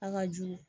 An ka juru